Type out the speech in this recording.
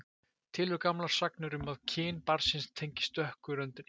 Til eru gamlar sagnir um að kyn barnsins tengist dökku röndinni.